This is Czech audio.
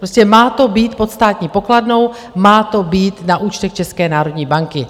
Prostě má to být pod Státní pokladnou, má to být na účtech České národní banky.